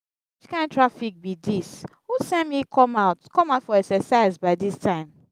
which kin traffic be dis?who send me come out come out for exercise by dis time?